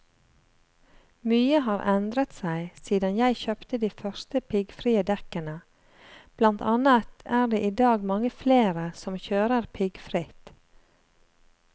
Mye har endret seg siden jeg kjøpte de første piggfrie dekkene, blant annet er det i dag mange flere som kjører piggfritt.